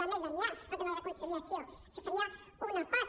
va més enllà el tema de la conciliació això en seria una part